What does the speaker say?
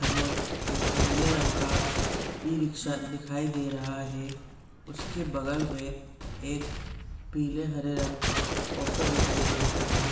में एक नीले रंग का इ-रिक्शा दिखाई दे रहा है। उसके बगल में एक पीले हरे रंग का ऑटो दिखाई दे रहा है।